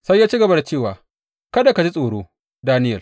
Sai ya ci gaba da cewa, Kada ka ji tsoro, Daniyel.